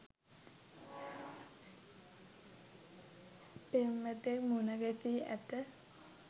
පෙම්වතෙක් මුණ ගැසී ඇත